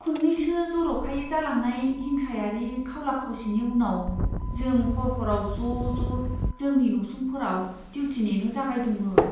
खुन्नैसो जर'खायै जालांनाय हिंसायारि खावला खावसिनि उनाव जों हर हराव ज' ज' जोंनि नसुंफोराव डिउथि नेनो जागायदोंमोन।